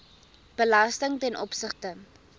belasting ten opsigte